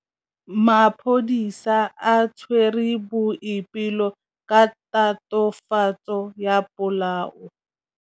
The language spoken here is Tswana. Maphodisa a tshwere Boipelo ka tatofatsô ya polaô.